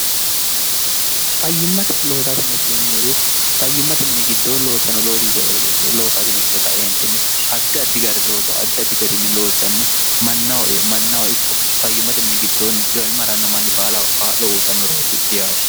fayyimmate loosainetinemmee fayyimmate mini giddoo loossano oos loosaainekkite kaeentinni addi addi gari looso addi addi gariinni loossanni mannaho mannaho ikko fayyimmate mini giddoonni dhyimmaranno manni baala qaa'lo uutannureeti yaate